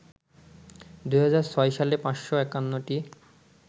২০০৬ সালে ৫৫১টি